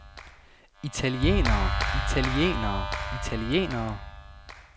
italienere italienere italienere